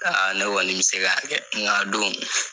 ne kɔni bɛ se ka kɛ nga a don